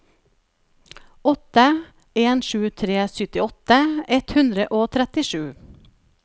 åtte en sju tre syttiåtte ett hundre og trettisju